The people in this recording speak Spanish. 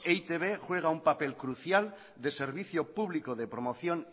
e i te be juega un papel crucial de servicio público de promoción